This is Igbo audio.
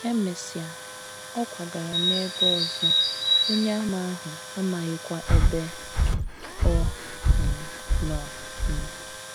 E mesịa, ọ kwagara n’ebe ọzọ, Onyeàmà ahụ amaghịkwa ebe ọ um nọ um.